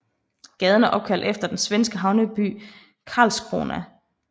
Gaden er opkaldt efter den svenske havneby Karlskrona